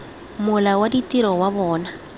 mola wa ditiro wa bona